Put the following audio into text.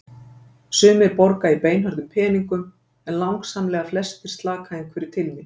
Sumir borga í beinhörðum peningum en langsamlega flestir slaka einhverju til mín.